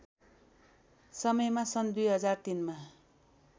समयमा सन् २००३ मा